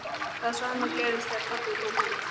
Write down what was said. Það sama gerðist þegar pabbi kom heim.